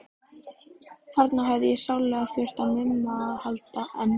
Þarna hefði ég sárlega þurft á Mumma að halda, en